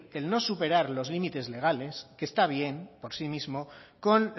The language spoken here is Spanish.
el no superar los límites legales que está bien por sí mismo con